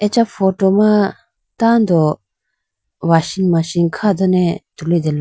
Acha photo ma tando washing Machine kha done tulitela.